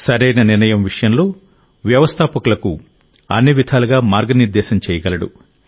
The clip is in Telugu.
సరైన నిర్ణయం విషయంలో వ్యవస్థాపకులకు అన్ని విధాలుగా మార్గనిర్దేశం చేయగలడు